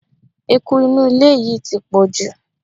Eku inú ilé yìí ti pọ̀jù.